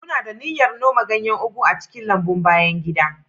Muna da niyyar noma ganyen ugu a cikin lambun bayan gida.